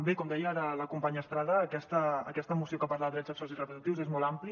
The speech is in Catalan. bé com deia ara la companya estrada aquesta moció que parla de drets sexuals i reproductius és molt àmplia